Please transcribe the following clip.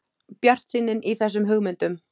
Bjartsýnin í þessum hugmyndum!